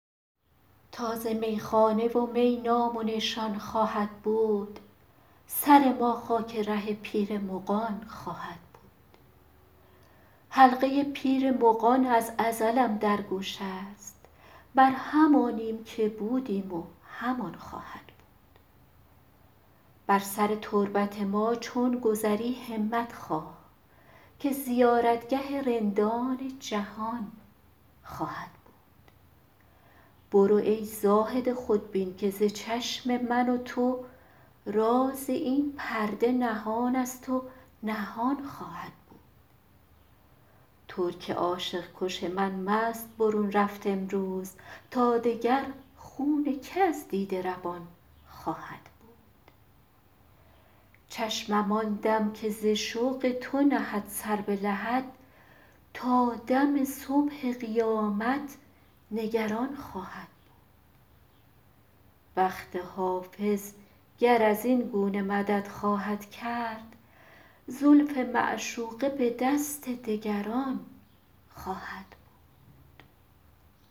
تا ز میخانه و می نام و نشان خواهد بود سر ما خاک ره پیر مغان خواهد بود حلقه پیر مغان از ازلم در گوش است بر همانیم که بودیم و همان خواهد بود بر سر تربت ما چون گذری همت خواه که زیارتگه رندان جهان خواهد بود برو ای زاهد خودبین که ز چشم من و تو راز این پرده نهان است و نهان خواهد بود ترک عاشق کش من مست برون رفت امروز تا دگر خون که از دیده روان خواهد بود چشمم آن دم که ز شوق تو نهد سر به لحد تا دم صبح قیامت نگران خواهد بود بخت حافظ گر از این گونه مدد خواهد کرد زلف معشوقه به دست دگران خواهد بود